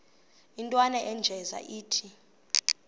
intwana unjeza ithi